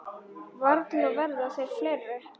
Varla verða þeir fleiri.